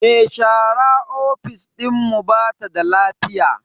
Me share ofis dinmu bata da lafiya.